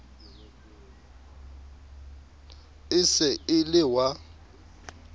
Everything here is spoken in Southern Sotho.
e se e le wa